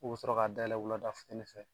K'o bɛ sɔrɔ ka dayɛlɛ wulada fitini fɛ.